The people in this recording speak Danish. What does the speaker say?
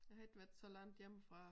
Jeg har ikke været så langt hjemmefra